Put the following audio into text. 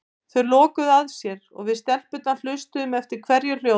Þau lokuðu að sér og við stelpurnar hlustuðum eftir hverju hljóði.